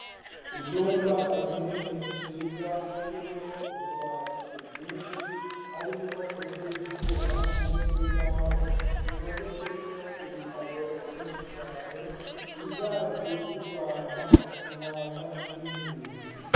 Icumba kinini, ciza, kirimwo utubati twinshi, harimwo utw'ivyuma, n'utw'imbaho, dutondetsemwo ibitabo vyinshi cane; ibidaji vy'ifanta, utumwanya turimwo ibintu.